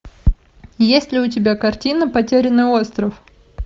есть ли у тебя картина потерянный остров